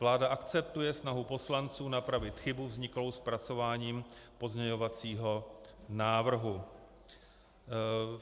Vláda akceptuje snahu poslanců napravit chybu vzniklou zpracováním pozměňovacího návrhu.